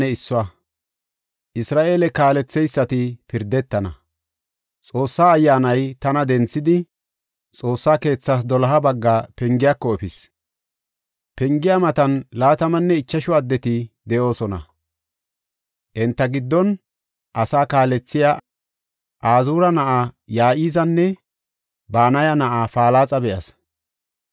Xoossa Ayyaanay tana denthidi, Xoossa keethas doloha bagga pengiyako efis. Pengiya matan laatamanne ichashu addeti de7oosona; enta giddon asaa kaalethiya Azuura na7aa Ya7izaana Banaya na7aa Palaxa be7as.